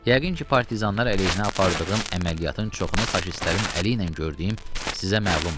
Yəqin ki, partizanlar əleyhinə apardığım əməliyyatın çoxunu faşistlərin əli ilə gördüyüm sizə məlumdur.